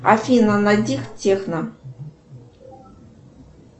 афина найди техно